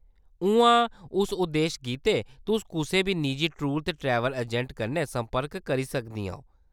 उ'आं, उस उद्देश गित्तै, तुस कुसै बी निजी टूर ते ट्रैवल अजैंट कन्नै संपर्क करी सकदियां ओ।